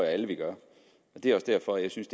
alle gør og det er også derfor jeg synes